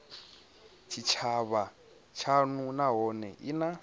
tshitshavha tshashu nahone i na